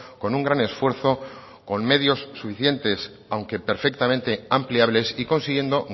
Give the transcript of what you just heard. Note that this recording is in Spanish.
con un gran esfuerzo con medios suficientes aunque perfectamente ampliables y consiguiendo